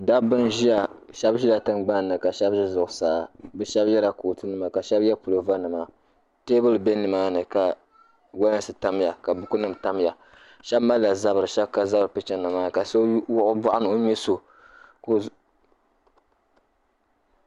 Dabba n-ʒia. Shɛba ʒila tiŋgbani ni ka shɛba ʒi zuɣusaa. Bɛ shɛba yɛla kootunima ka shɛba ye puloovanima. Teebuli be nimaani ka walansi tamya ka bukunima tamya. Shɛba malila zabiri shɛba ka zabiri picha ŋɔ maa ni ka so wuɣi o bɔɣu ni o ŋme so.